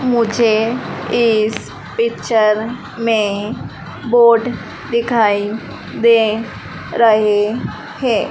मुझे इस पिक्चर में बोट दिखाई दे रहे हैं।